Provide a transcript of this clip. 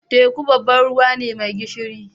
Teku babban ruwa ne mai gishiri.